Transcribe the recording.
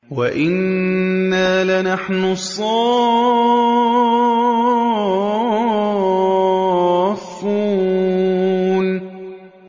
وَإِنَّا لَنَحْنُ الصَّافُّونَ